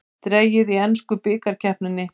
Dregið í ensku bikarkeppninni